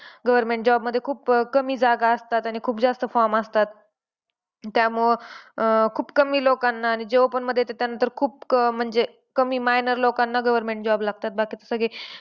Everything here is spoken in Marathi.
Government job मध्ये अह खूप कमी जागा असतात आणि खूप जास्त form असतात. त्यामुळे अं खूप कमी लोकांनां आणि जेव्हापण मध्ये येतं त्यानंतर खूप कमी म्हणजे minor लोकांनां job लागतात. बाकीचे सगळे